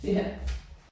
Ja